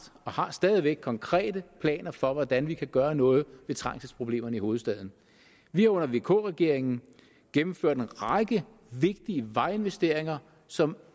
og har stadig væk konkrete planer for hvordan vi kan gøre noget ved trængselsproblemerne i hovedstaden vi har under vk regeringen gennemført en række vigtige vejinvesteringer som